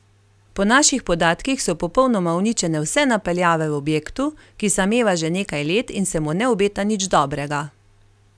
Po naših podatkih so popolnoma uničene vse napeljave v objektu, ki sameva že nekaj let in se mu ne obeta nič dobrega.